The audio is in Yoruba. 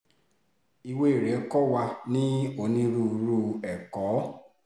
ìwé rẹ̀ kò wà ní onírúurú ẹ̀kọ́